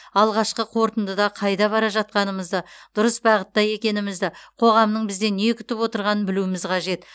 алғашқы қорытындыда қайда бара жатқанымызды дұрыс бағытта екенімізді қоғамның бізден не күтіп отырғанын білуіміз қажет